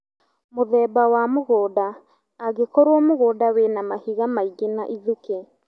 Mũthemba wa mũgũnda - angĩkorwo mũgũnda wĩna mahiga maingĩ na ithukĩ